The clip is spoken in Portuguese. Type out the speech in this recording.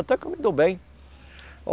Até que eu me dou bem.